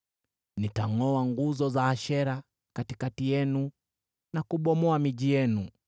Nitangʼoa nguzo za Ashera katikati yenu na kubomoa miji yenu.